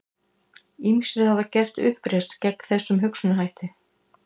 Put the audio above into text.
Ýmsir hafa gert uppreisn gegn þessum hugsunarhætti.